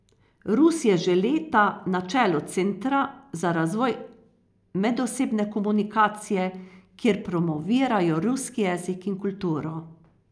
Rus je že leta na čelu Centra za razvoj medosebne komunikacije, kjer promovirajo ruski jezik in kulturo.